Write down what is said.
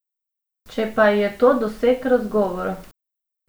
Če pa je to doseg razgovora.